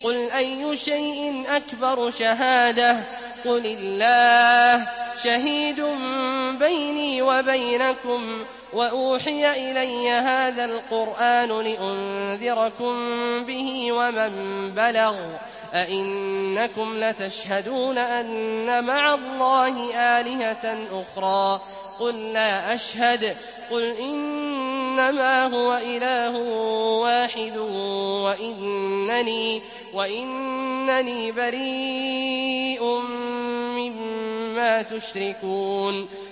قُلْ أَيُّ شَيْءٍ أَكْبَرُ شَهَادَةً ۖ قُلِ اللَّهُ ۖ شَهِيدٌ بَيْنِي وَبَيْنَكُمْ ۚ وَأُوحِيَ إِلَيَّ هَٰذَا الْقُرْآنُ لِأُنذِرَكُم بِهِ وَمَن بَلَغَ ۚ أَئِنَّكُمْ لَتَشْهَدُونَ أَنَّ مَعَ اللَّهِ آلِهَةً أُخْرَىٰ ۚ قُل لَّا أَشْهَدُ ۚ قُلْ إِنَّمَا هُوَ إِلَٰهٌ وَاحِدٌ وَإِنَّنِي بَرِيءٌ مِّمَّا تُشْرِكُونَ